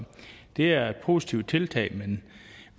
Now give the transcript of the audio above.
det er et positivt tiltag men